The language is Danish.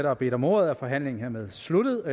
har bedt om ordet er forhandlingerne sluttet